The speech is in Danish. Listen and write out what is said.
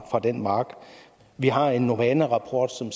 den mark vi har en novana rapport som